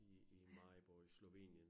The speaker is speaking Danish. I i Maribor i Slovenien